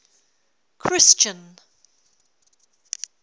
christian